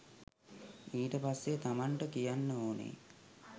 ඊට පස්සෙ තමන්ට කියන්න ඕනෙ